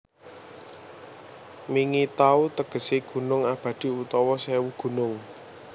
Mingi Taw tegesé gunung abadi utawa sèwu gunung